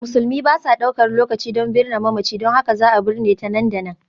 Musulmi ba sa ɗaukar lokaci don binne mamaci, don haka za a binne ta nan da nan.